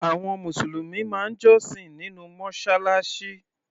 Àwọn Mùsùlùmí máa ń jọ́sìn nínú Mọ́ṣáláṣí.